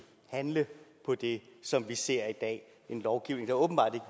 handle på det som vi ser i dag en lovgivning der åbenbart